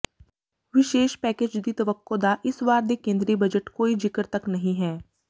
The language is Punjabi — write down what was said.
ਵਿਸ਼ੇਸ ਪੈਕੇਜ ਦੀ ਤਵੱਕੋਂ ਦਾ ਇਸ ਵਾਰ ਦੇ ਕੇਂਦਰੀ ਬਜਟ ਕੋਈ ਜਿਕਰ ਤੱਕ ਨਹੀਂ ਹੈ